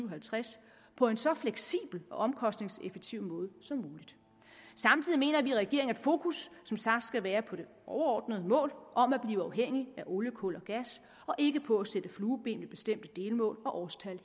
og halvtreds på en så fleksibel og omkostningseffektiv måde som muligt samtidig mener vi i regeringen at fokus som sagt skal være på det overordnede mål om at blive uafhængig af olie kul og gas og ikke på at sætte flueben ved bestemte delmål og årstal